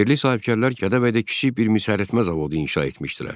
Yerli sahibkarlar Gədəbəydə kiçik bir misəritmə zavodu inşa etmişdilər.